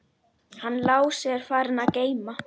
Hann Lási er farinn að geyma.